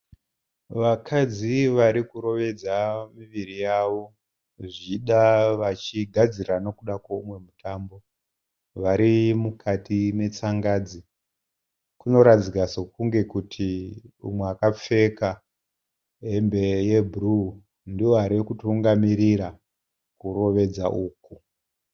Vakadzi varikurovedza muviri yavo zvichida vachigadzira nekuda kwemumwe mutambo vari mukati metsangadzi kunoratidzika sekuti mumwe wakapfeka hembe yebhuru ndiye arikutungamira kurovedza uku.